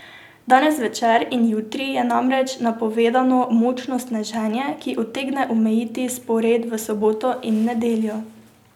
Danes zvečer in jutri je namreč napovedano močno sneženje, ki utegne omejiti spored v soboto in nedeljo.